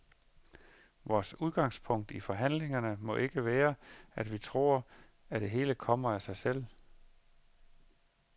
Vores udgangspunkt i forhandlingerne må ikke være, at vi tror, at det hele kommer til os af sig selv.